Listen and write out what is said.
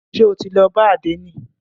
Ṣé o ti lọ bá àdénì?